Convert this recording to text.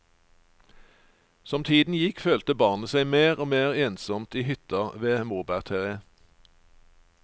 Som tiden gikk følte barnet seg mer og mer ensomt i hytta ved morbærtreet.